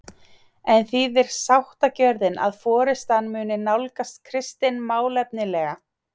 En þýðir sáttagjörðin að forystan muni nálgast Kristin málefnalega?